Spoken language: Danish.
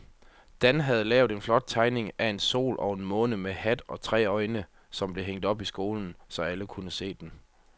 Dan havde lavet en flot tegning af en sol og en måne med hat og tre øjne, som blev hængt op i skolen, så alle kunne se den.